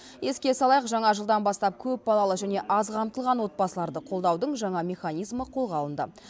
еске салайық жаңа жылдан бастап көпбалалы және аз қамтылған отбасыларды қолдаудың жаңа механизмі қолға алынды